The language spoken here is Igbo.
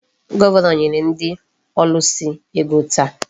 Gọvanọ nyere ndị ọlụsị ego taa.